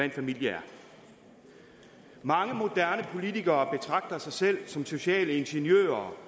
en familie mange moderne politikere betragter sig selv som sociale ingeniører